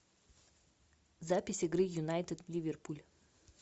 запись игры юнайтед ливерпуль